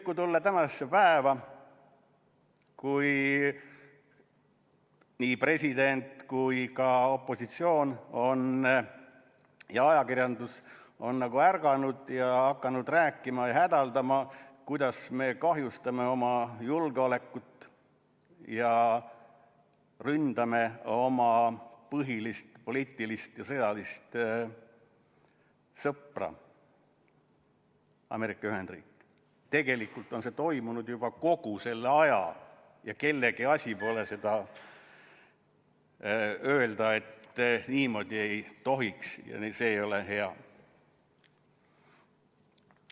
“ Kui tulla tänasesse päeva, kus nii meie president kui ka opositsioon ja ajakirjandus on ärganud ja hakanud rääkima, hädaldama, kuidas me kahjustame oma julgeolekut ja ründame oma põhilist poliitilist ja sõjalist sõpra – Ameerika Ühendriike –, siis tegelikult on toimunud see juba kogu aja ja kellegi asi pole öelda, et niimoodi ei tohiks ja see ei ole hea.